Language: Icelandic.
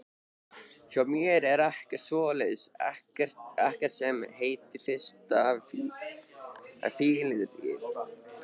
Hjá mér er ekkert svoleiðis, ekkert sem heitir fyrsta fylliríið.